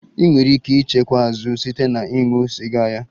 Ị nwere ike ịchekwa azụ site na ịṅụ sịga ya